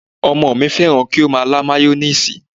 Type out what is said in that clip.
Ọmọ mi fẹ́ràn kí ó máa lá mayoníìsì